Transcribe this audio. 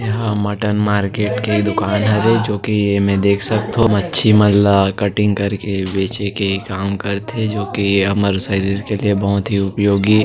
एहा mutton market के दुकान हरे जोकि एमे देख सकथो मछी मन ला कटिंग करके बेचे के काम करथे जोकि हमर शरीर के लिए बहुत ही उपयोगी --